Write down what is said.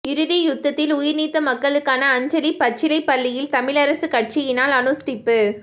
இறுதி யுத்தத்தில் உயிர் நீத்த மக்களுக்கான அஞ்சலி பச்சிலைப்பள்ளியில் தமிழரசுக் கட்சியினால் அனுஷ்டிப்பு